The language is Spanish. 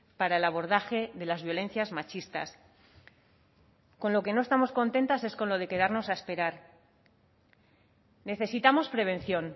para el abordaje de las violencias machistas con lo que no estamos contentas es con lo de quedarnos a esperar necesitamos prevención